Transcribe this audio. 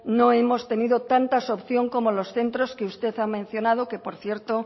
no hemos tenido tantas opciones como los centros que usted ha mencionado que por cierto